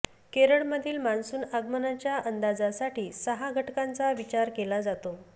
केरळमधील मान्सून आगमनाच्या अंदाजासाठी सहा घटकांचा विचार केला जातो